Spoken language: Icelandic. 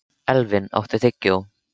Elvin, áttu tyggjó?